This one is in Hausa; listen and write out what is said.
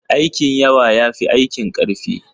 Aikin yawa ya fi aikin ƙarfi.